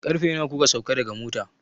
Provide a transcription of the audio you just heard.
Karfe nawa kuka sauka daga mota?